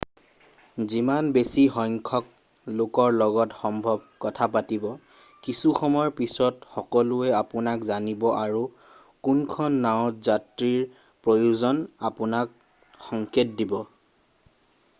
যিমান বেছি সংখ্যক লোকৰ লগত সম্ভৱ কথা পাতিব কিছুসময় পিছত সকলোৱে আপোনাক জানিব আৰু কোনখন নাওঁত যাত্ৰীৰ প্ৰয়োজন আপোনাক সংকেত দিব